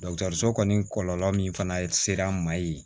so kɔni kɔlɔlɔ min fana ser'an ma yen